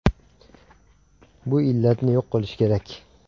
Bu illatni yo‘q qilish kerak.